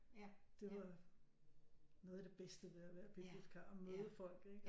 Det var noget af det bedste ved at være bibliotikar at møde folk ikke